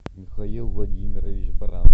михаил владимирович баранов